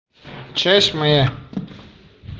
часть моя